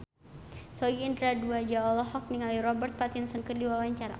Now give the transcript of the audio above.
Sogi Indra Duaja olohok ningali Robert Pattinson keur diwawancara